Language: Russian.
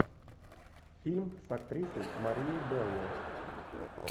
фильм с актрисой марией белло